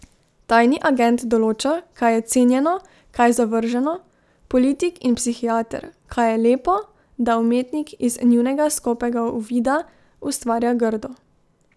Tajni agent določa, kaj je cenjeno, kaj zavrženo, politik in psihiater, kaj je lepo, da umetnik, iz njunega skopega uvida, ustvarja grdo.